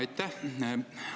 Aitäh!